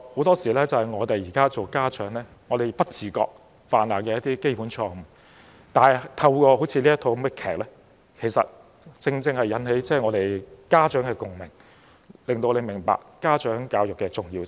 "這是我們身為家長的很多時候不自覺犯下的基本錯誤，但透過這齣音樂劇，正正引起家長的共鳴，令我們明白家長教育的重要性。